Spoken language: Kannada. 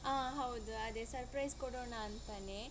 ಹಾ ಹೌದು ಅದೇ surprise ಕೋಡೋಣ ಅಂತನೇ.